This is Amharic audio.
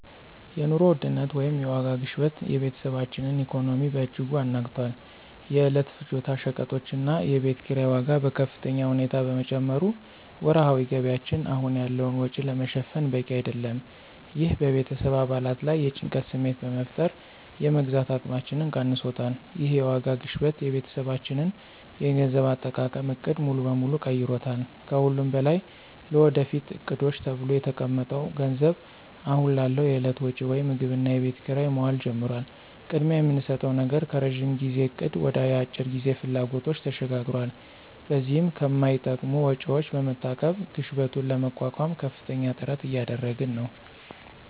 የኑሮ ውድነት (የዋጋ ግሽበት) የቤተሰባችንን ኢኮኖሚ በእጅጉ አናግቷል። የዕለት ፍጆታ ሸቀጦችና የቤት ኪራይ ዋጋ በከፍተኛ ሁኔታ በመጨመሩ ወርሃዊ ገቢያችን አሁን ያለውን ወጪ ለመሸፈን በቂ አይደለም። ይህ በቤተሰብ አባላት ላይ የጭንቀት ስሜት በመፍጠር የመግዛት አቅማችንን ቀንሶታል። ይህ የዋጋ ግሽበት የቤተሰባችንን የገንዘብ አጠቃቀም ዕቅድ ሙሉ በሙሉ ቀይሮታል። ከሁሉም በላይ ለወደፊት ዕቅዶች ተብሎ የተቀመጠው ገንዘብ አሁን ላለው የዕለት ወጪ (ምግብና የቤት ኪራይ) መዋል ጀምሯል። ቅድሚያ የምንሰጠው ነገር ከረዥም ጊዜ እቅድ ወደ የአጭር ጊዜ ፍላጎቶች ተሸጋግሯል። በዚህም ከማይጠቅሙ ወጪዎች በመታቀብ ግሽበቱን ለመቋቋም ከፍተኛ ጥረት እያደረግን ነው።